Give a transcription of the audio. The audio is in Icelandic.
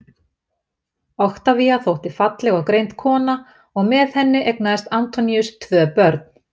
Oktavía þótti falleg og greind kona og með henni eignaðist Antoníus tvö börn.